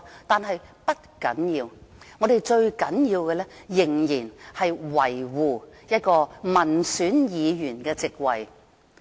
然而，不要緊，最重要的是我們要仍然維護一個民選議員的席位。